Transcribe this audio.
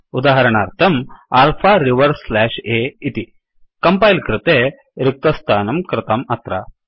उदाहरणार्थं alpha reverse slash A इति compile कृते रिक्तस्थानं कृतं अत्र